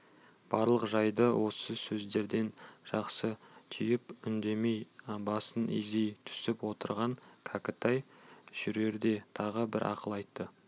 барлық жайды осы сөздерден жақсы түйіп үндемей басын изей түсіп отырған кәкітай жүрерде тағы бір ақыл айтты